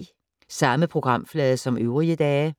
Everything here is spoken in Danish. Samme programflade som øvrige dage